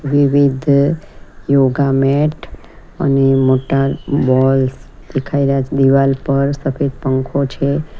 વિવિધ yoga mat અને મોટા બોલ્સ દેખાઈ રહ્યા છે દિવાલ પર સફેદ પંખો છે.